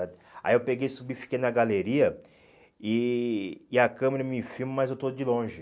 Aí eu peguei, subi, fiquei na galeria e e a câmera me filma, mas eu estou de longe.